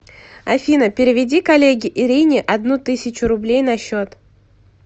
афина переведи коллеге ирине одну тысячу рублей на счет